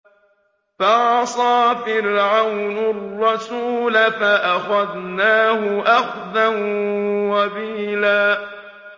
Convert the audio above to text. فَعَصَىٰ فِرْعَوْنُ الرَّسُولَ فَأَخَذْنَاهُ أَخْذًا وَبِيلًا